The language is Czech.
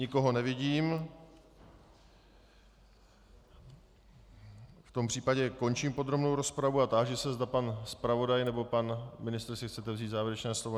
Nikoho nevidím, v tom případě končím podrobnou rozpravu a táži se, zda pan zpravodaj nebo pan ministr si chcete vzít závěrečné slovo.